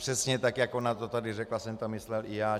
Přesně tak, jak ona to tady řekla, jsem to myslel i já.